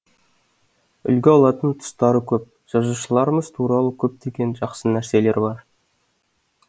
үлгі алатын тұстары көп жазушыларымыз туралы көптеген жақсы нәрселер бар